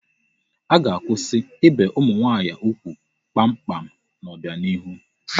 A ga-akwụsị ibe ụmụ nwaanyị ugwu kpamkpam n'ọbianihu